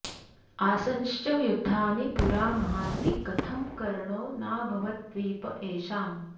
आसंश्च युद्धानि पुरा महान्ति कथं कर्णो नाभवद्द्वीप एषाम्